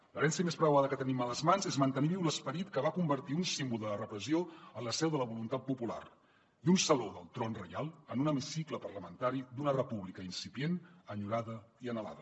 l’herència més preuada que tenim a les mans és mantenir viu l’esperit que va convertir un símbol de la repressió en la seu de la voluntat popular i un saló del tron reial en un hemicicle parlamentari d’una república incipient enyorada i anhelada